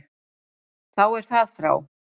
Þá er það frá.